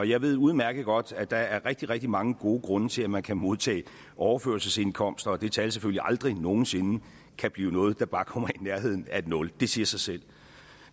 jeg ved udmærket godt at der er rigtig rigtig mange gode grunde til at man kan modtage overførselsindkomst og at det tal selvfølgelig aldrig nogen sinde kan blive noget der bare kommer i nærheden af et nul det siger sig selv